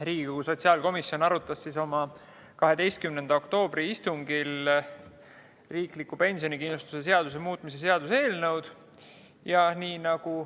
Riigikogu sotsiaalkomisjon arutas oma 12. oktoobri istungil riikliku pensionikindlustuse seaduse muutmise seaduse eelnõu.